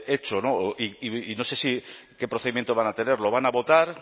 hecho y no sé qué procedimiento van a tener lo van a votar